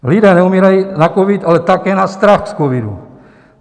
Lidé neumírají na covid, ale také na strach z covidu.